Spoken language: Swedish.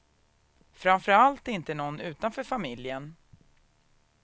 Framför allt inte någon utanför familjen.